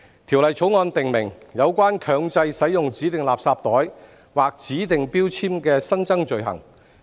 《條例草案》訂明有關強制使用指定垃圾袋或指定標籤的新增罪行。